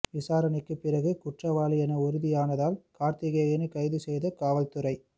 விசாரணைக்கு பிறகு குற்றவாளி என உறுதியானதால் கார்த்திகேயனை கைது செய்தது காவல்துறை